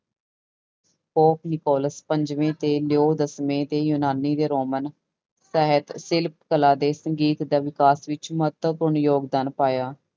Nicholas ਪੰਜਵੇਂ ਤੇ Leo ਦਸਵੇਂ ਤੇ ਯੂਨਾਨੀ ਤੇ ਰੋਮਨ ਸਾਹਿਤ ਸਿਲਪ ਕਲਾ ਤੇ ਸੰਗੀਤ ਦਾ ਵਿਕਾਸ ਵਿੱਚ ਮਹੱਤਵਪੂਰਨ ਯੋਗਦਾਨ ਪਾਇਆ।